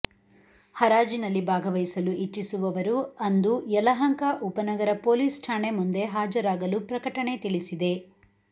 ಹರಾಜಿನಲ್ಲಿ ಭಾಗವಹಿಸಲು ಇಚ್ಚಿಸುವವರು ಅಂದು ಯಲಹಂಕ ಉಪನಗರ ಪೊಲೀಸ್ ಠಾಣೆ ಮುಂದೆ ಹಾಜರಾಗಲು ಪ್ರಕಟಣೆ ತಿಳಿಸಿದೆ